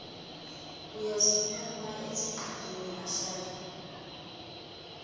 uyasukuma esigqikini ahleli